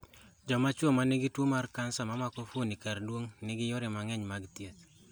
Jomachuwo ma nigi tuwo mar kansa mamako fuoni kardung'o nigi yore mang�eny mag thieth.